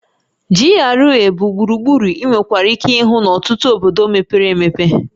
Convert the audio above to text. GRA(Government Reserved Area) bụ gburugburu ị nwekwara ike ịhụ n'ọtụtụ obodo mepere emepe